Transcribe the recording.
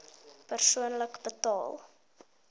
persoonlik betaal